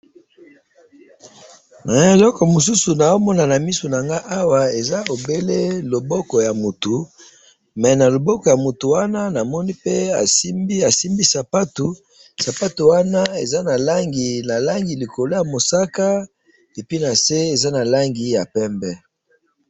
Awa na moni loboko esimbi sapato moko na langi ya mosaka na pembe.